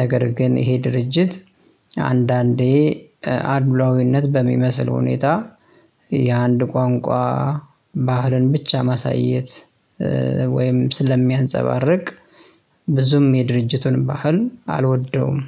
ነገር ግን ይሄ ድርጅት አንዳንዴ አድሏዊነት በሚመስል ሁኔታ የአንድ ቋንቋ ባህልን ብቻ ማሳየት ወይም ስለሚያንፀባርቅ ብዙም የድርጅቱን ባህል አልወደውም